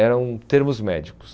eram termos médicos.